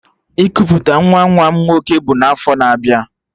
Ikuputa nwa nwa m nwoke bụ n'afọ na-abịa abịa